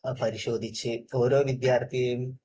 പരിശോധിച്ച് ഓരോ വിദ്യാർഥിയെയും